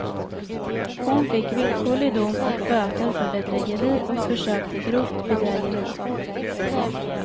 Hon fick villkorlig dom och böter för bedrägeri och försök till grovt bedrägeri.